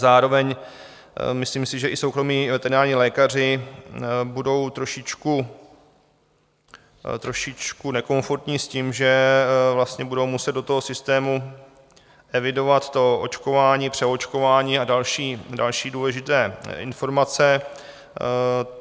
Zároveň si myslím, že i soukromí veterinární lékaři budou trošičku, trošičku nekomfortní s tím, že vlastně budou muset do toho systému evidovat to očkování, přeočkování a další důležité informace.